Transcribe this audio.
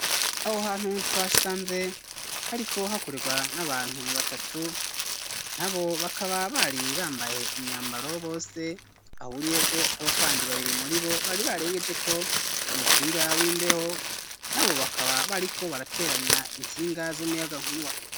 Aho hantu, twasanze hariko hakorerwa n'abantu batatu, nabo bakaba bari bambaye imyambaro bose bahuriyeko, hariho kandi babiri muri bo, bari barengejeko umupira w'imbeho; nabo bakaba bariko barateranya insinga z'umuyagankuba.